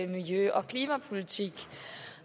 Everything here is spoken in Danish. miljø og klimapolitik